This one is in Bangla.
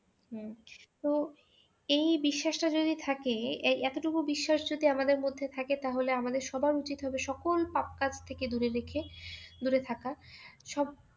হুম তো এই বিশ্বাসটা যদি থাকে এই এতোটুকু বিশ্বাস যদি আমাদের মধ্যে থাকে তাহলে আমাদের সবার উচিত হবে সকল পাপ কাজ থেকে দূরে রেখে দূরে থাকা সব